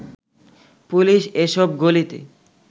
police এ সব গলিতে